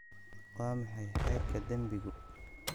Waa maxay heerka dembigu?